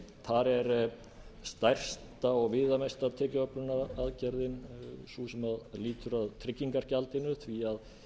þar er stærsta og viðamesta tekjuöflunaraðgerðin sú sem aftur að tryggingagjaldinu að